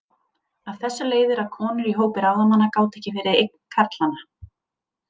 Af þessu leiðir að konur í hópi ráðamanna gátu ekki verið eign karlanna.